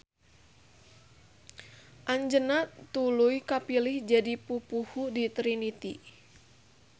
Anjeunna tuluy kapilih jadi pupuhu di Trinitty.